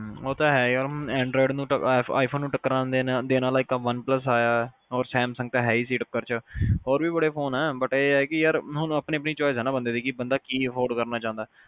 ਹਮ ਉਹ ਤਾਂ ਹੈ ਯਾਰ anroid ਨੂੰ ਤਾਂ i phone ਨੂੰ ਟੱਕਰਾਂ ਦੇਣ ਆਲਾ ਇਕ one plus ਆਇਆ ਆ ਤੇ samsung ਤਾ ਹੈ ਹੀ ਸੀ ਟੱਕਰ ਚ ਹੋਰ ਵੀ ਬੜੇ ਫੋਨ ਆ but ਇਹ ਆ ਕਿ ਯਾਰ ਹੁਣ ਆਪਣੀ ਆਪਣੀ choice ਆ ਬੰਦੇ ਦੀ ਕੀ afford ਕਰਨਾ ਚਾਹੰਦਾ